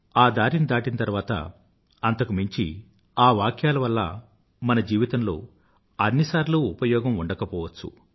ఆ దారిని దాటాక ఆ వాక్యాల వల్ల మన జీవితంలో అన్నిసార్లూ ఉపయోగం ఉండకపోవచ్చు